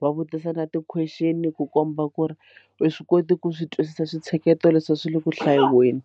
va vutisana ti-question ku komba ku ri u swi koti ku swi twisisa swintsheketo leswi a swi le ku hlayiweni.